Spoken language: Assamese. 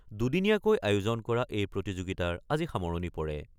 দুদিনীয়াকৈ আয়োজন কৰা এই প্ৰতিযোগিতাৰ আজি সামৰণি পৰে।